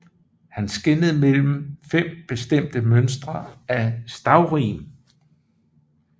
Han skelnede mellem fem bestemte mønstre af stavrim